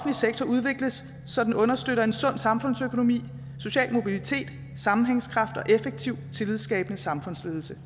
sektor udvikles så den understøtter en sund samfundsøkonomi social mobilitet sammenhængskraft og effektiv tillidsskabende samfundsledelse